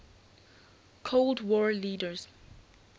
cold war leaders